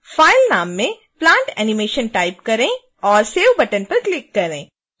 file नाम में plantanimation type करें और save बटन पर क्लिक करें